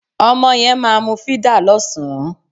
Ọmọ yẹn máa mu fídà lọ́sàn-án